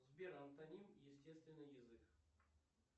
сбер антоним естественный язык